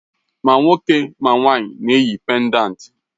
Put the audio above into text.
Mà nwoke ma nwanyị na-eyi péndántí